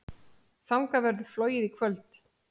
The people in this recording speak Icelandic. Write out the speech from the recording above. Þangað verður flogið í kvöld.